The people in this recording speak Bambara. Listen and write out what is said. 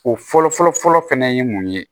O fɔlɔ-fɔlɔ fɛnɛ ye mun ye